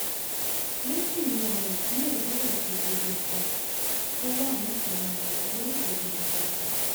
méjì ni àwọn ìpínlẹ̀ gbọ́dọ̀ ṣe gbogbo nǹkan tó wà níkàáwọ́ wọn lórí ìṣèjọba wọn